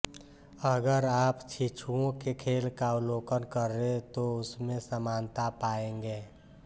अगर आप शिशुओं के खेल का अवलोकन करें तो उसमें समानता पाएंगे